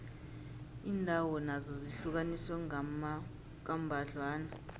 iindawo nazo zihlukaniswe kambadlwana